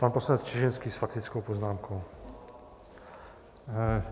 Pan poslanec Čižinský s faktickou poznámkou.